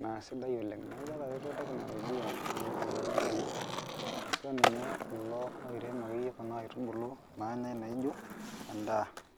neaku etaretui ntae oleng, etereto lairemok oleng ashu akeyie kulo orem nkaitubulu nanyai nijo endaa.